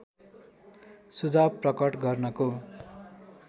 सुझाव प्रकट गर्नको